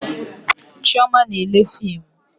Chioma na-ele fimu